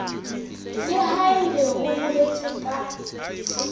le haebe ho boletswe ka